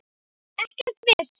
Ekkert vesen!